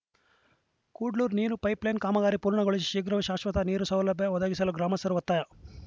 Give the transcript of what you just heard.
ಕುಡ್ಲೂರು ನೀರು ಪೈಪ್‌ಲೈನ್‌ ಕಾಮಗಾರಿ ಪೂರ್ಣಗೊಳಿಸಿ ಶೀಘ್ರವೇ ಶಾಶ್ವತ ನೀರು ಸೌಲಭ್ಯ ಒದಗಿಸಲು ಗ್ರಾಮಸ್ಥರ ಒತ್ತಾಯ